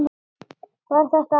Var þetta æft?